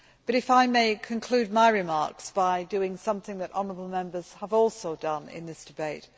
If I may, I will conclude my remarks by doing something that honourable Members have also done in this debate.